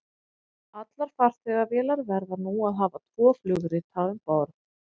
Allar farþegavélar verða nú að hafa tvo flugrita um borð.